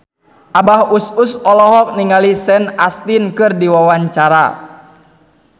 Abah Us Us olohok ningali Sean Astin keur diwawancara